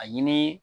A ɲini